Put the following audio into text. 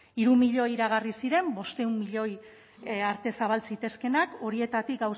hiru milioi iragarri ziren bostehun milioi arte zabal zitezkeenak horietatik